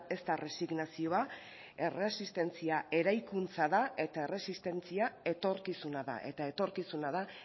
ez da erresignazioa erresistentzia eraikuntza da eta erresistentzia etorkizuna da eta etorkizuna da